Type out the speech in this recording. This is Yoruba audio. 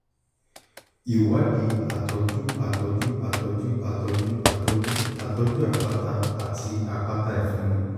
2) ìwádìí àtọ́jú àtọ́jú àtọ́jú àtọ́jú àtọ́jú àtọ́jú àpáta àti àpáta ìfunni